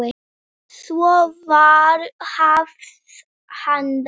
Svo var hafist handa.